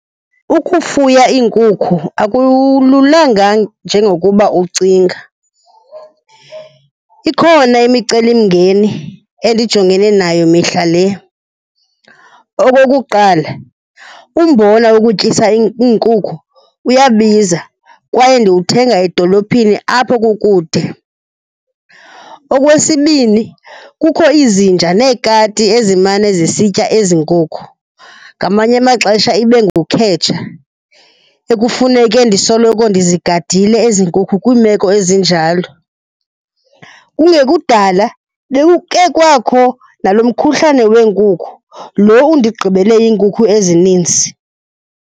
Ukufuya iinkukhu akululanga njengokuba ucinga, ikhona imicelimngeni endijongene nayo mihla le. Okokuqala, umbona wokutyisa iinkukhu uyabiza kwaye ndiwuthenga edolophini apho kukude. Okwesibini, kukho izinja neekati ezimane sisitya ezi nkukhu, ngamanye amaxesha ibe ngukhetsha ekufeneke ndisoloko ndizigadile ezi nkukhu kwiimeko ezinjalo. Kungekudala bekukhe kwakho nalo mkhuhlane weenkukhu, lo undigqibele iinkukhu ezininzi.